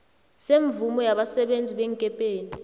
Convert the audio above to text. semvumo yabasebenzi beenkepeni